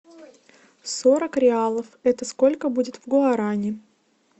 сорок реалов это сколько будет в гуарани